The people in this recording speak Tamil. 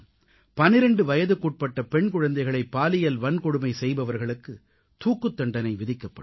12 வயதுக்குட்பட்ட பெண் குழந்தைகளை பாலியல் வன்கொடுமை செய்பவர்களுக்குத் தூக்குத்தண்டனை விதிக்கப்படும்